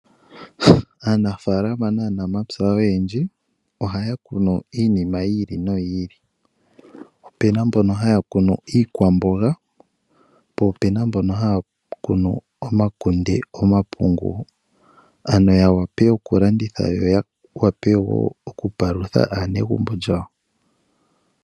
Aanafaalama naanamapya oyendji ohaya kunu iinima yi ili noyi ili. Ope na mbono haya kunu iikwamboga, po ope na mbono haya kunu omakunde, omapungu..ano ya wape oku landitha yo ya wape wo oku palutha aanegumbo lyawo.